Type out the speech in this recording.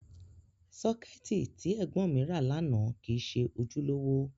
Sọ́kẹ́ẹ̀tì tí ẹ̀gbọ́n mi ra lánàá kìí ṣe ojúlówó.